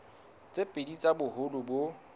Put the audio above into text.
tse pedi tsa boholo bo